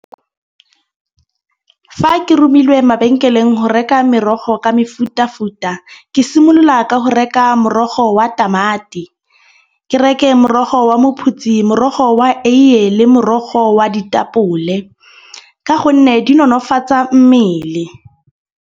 Fa ke rumilwe mabenkeleng go reka merogo ka mefutafuta, ke simolola ka go reka morogo wa tamati, ke reke morogo wa maphutsi, morogo wa eiye le morogo wa ditapole. Ka gonne di nonofatsa mmele.